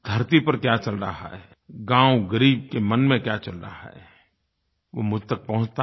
धरती पर क्या चल रहा है गाँव ग़रीब के मन में क्या चल रहा है वो मुझ तक पहुँचता है